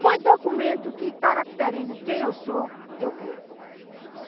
Foi documento que caracteriza quem eu sou, eu quero.